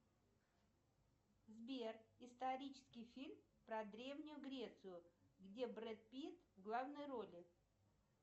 сбер исторический фильм про древнюю грецию где брэд питт в главной роли